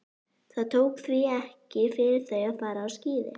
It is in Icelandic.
Það tók því ekki fyrir þau að fara á skíði.